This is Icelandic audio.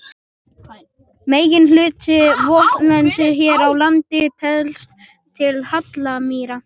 Meginhluti votlendis hér á landi telst til hallamýra.